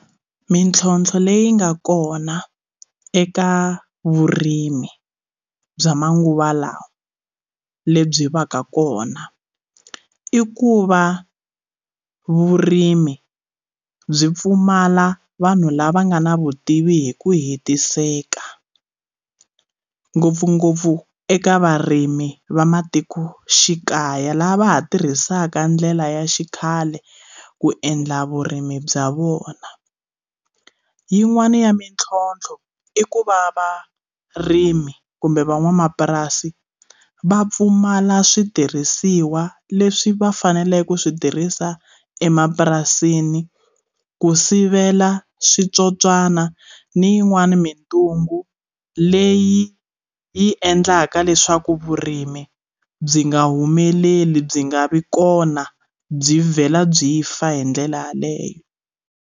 Mintlhotlho leyi nga kona eka vurimi bya manguva lawa lebyi va ka kona i ku va vurimi byi pfumala vanhu lava nga na vutivi hi ku hetiseka ngopfungopfu eka varimi va matikoxikaya laha va ha tirhisaka ndlela ya xikhale ku endla vurimi bya vona yin'wani ya mintlhontlho i ku va varimi kumbe van'wamapurasi va pfumala switirhisiwa leswi va faneleke ku switirhisa emapurasini ku sivela switsotswana ni yin'wani mintungu leyi yi endlaka leswaku vurimi byi nga humeleli byi nga vi kona byi vhela byi fa hi ndlela yaleyo.